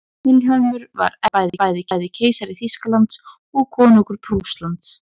vilhjálmur var eftir það bæði keisari þýskalands og konungur prússlands